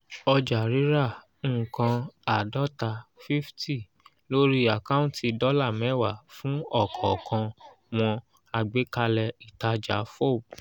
ọjà-rírà nǹkan àádọ́ta fifty lórí àkáǹtì dọ́là mẹ́wàá fún ọ̀kọ̀ọ̀kan wọn àgbékalẹ̀ ìtajà fob